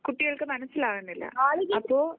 കുട്ടികൾക്ക് മനസ്സിലാവുന്നില്ല അപ്പോ